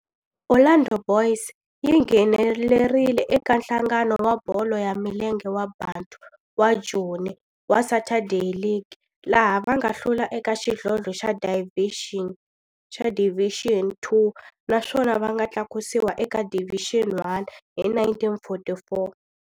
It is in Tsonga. Orlando Boys yi nghenelerile eka Nhlangano wa Bolo ya Milenge wa Bantu wa Joni wa Saturday League, laha va nga hlula eka xidlodlo xa Division Two naswona va nga tlakusiwa eka Division One hi 1944.